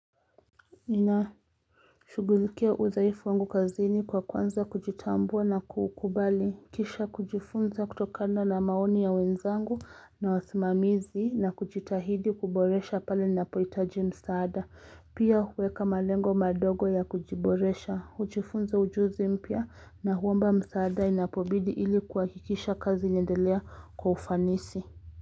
Inashughulikia udhaifu wangu kazini kwa kuanza kujitambua na kuukubali. Kisha kujifunza kutokana na maoni ya wenzangu na wasimamizi na kujitahidi kuboresha pale ninapohitaji msaada. Pia huweka malengo madogo ya kujiboresha, hujifunza ujuzi mpya na huomba msaada inapobidi ili kuhakikisha kazi inaendelea kwa ufanisi.